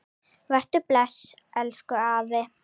Vertu bless, elsku afi.